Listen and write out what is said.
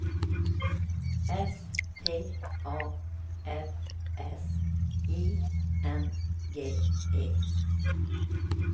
S T A F S I N G E